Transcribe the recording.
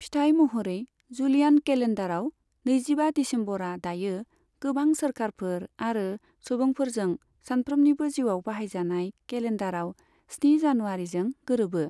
फिथाय महरै, जूलियान केलेन्डाराव नैजिबा दिसेम्बरा दायो गोबां सोरखारफोर आरो सुबुंफोरजों सानफ्रोमनिबो जिउआव बाहायजानाय केलेन्डाराव स्नि जनुवारीजों गोरोबो।